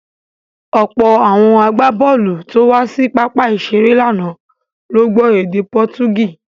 Ọ̀pọ̀ àwọn agbábọ̀ọ̀lù tó wá sí pápá ìṣeré lánàá ló gbọ́ èdè Pọtugí.